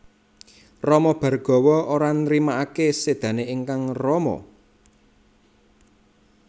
Rama Bhargawa ora nrimakaké sédané ingkang rama